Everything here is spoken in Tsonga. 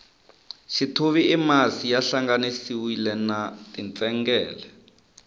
xithuvi i masi ya hlanganisiwile na tintsengele